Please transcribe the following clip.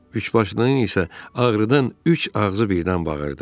Üçbaşlının isə ağrıdan üç ağzı birdən bağırdı.